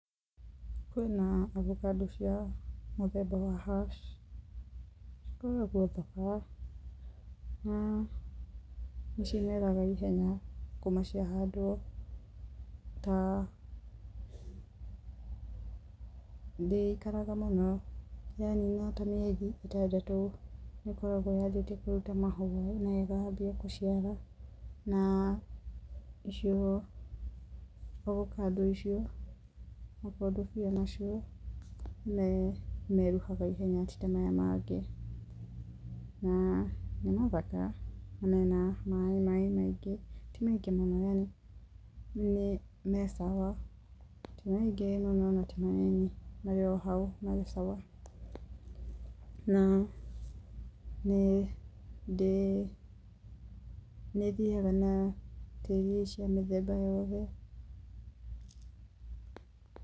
Kwĩna avocado cia mũthemba wa hass. Cikoragwo thaka na nĩcimeraga ihenya kuma ciahandwo, ta ndĩikaraga mũno, yanina ta mĩeri itandatũ nĩkoragwo yambĩtie kũruta mahũa, na ĩkambia gũciara na icio avocado icio, makondobia macio nĩmeruhaga ihenya ti ta maya mangĩ, na nĩ mathaka na mena maĩ maingĩ, ti maingĩ mũno yani, me sawa. Ti maingĩ mũno na ti manini, me hau me sawa. Na, nĩndĩ, nĩthiaga na tĩri cia mĩthemba yothe.